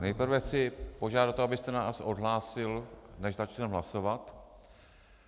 Nejprve chci požádat o to, abyste nás odhlásil, než začneme hlasovat.